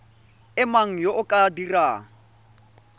mang yo o ka dirang